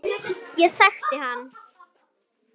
Ég þekkti hann